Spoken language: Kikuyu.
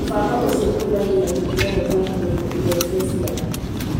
Mũbango ũcio ũhũthagĩra tekinoronjĩ ya kũmenya na irore cia ciara